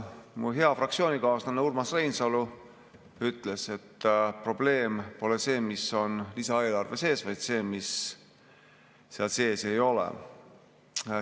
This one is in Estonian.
Mu hea fraktsioonikaaslane Urmas Reinsalu ütles, et probleem pole see, mis on lisaeelarves sees, vaid see, mida seal sees ei ole.